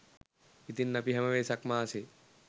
ඉතින් අපි හැම වෙසක් මාසේ